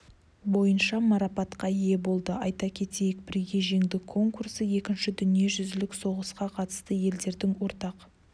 бойынша марапатқа ие болды айта кетейік бірге жеңдік конкурсы екінші дүниежүзілік соғысқа қатысқан елдердің ортақ